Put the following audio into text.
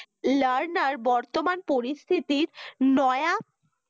lerner বর্তমান পরিস্থিতির নয়া